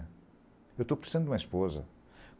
Eu estou precisando de uma esposa.